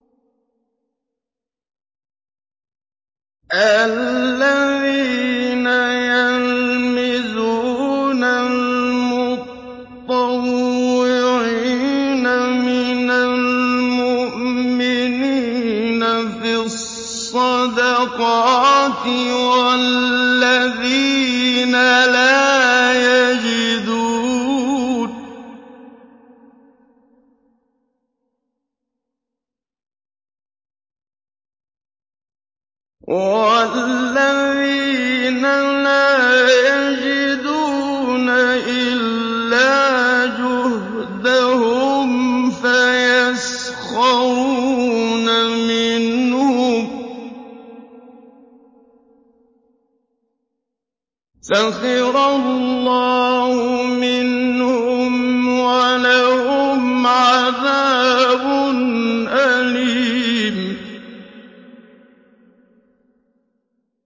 الَّذِينَ يَلْمِزُونَ الْمُطَّوِّعِينَ مِنَ الْمُؤْمِنِينَ فِي الصَّدَقَاتِ وَالَّذِينَ لَا يَجِدُونَ إِلَّا جُهْدَهُمْ فَيَسْخَرُونَ مِنْهُمْ ۙ سَخِرَ اللَّهُ مِنْهُمْ وَلَهُمْ عَذَابٌ أَلِيمٌ